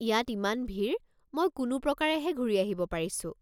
ইয়াত ইমান ভিৰ, মই কোনো প্ৰকাৰেহে ঘূৰি আহিব পাৰিছোঁ।